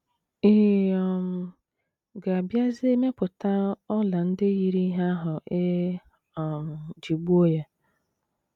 Ị̀ um ga - abịazi mepụta ọla ndị yiri ihe ahụ e um ji gbuo ya?